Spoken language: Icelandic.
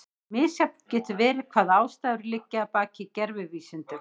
Misjafnt getur verið hvaða ástæður liggja að baki gervivísindum.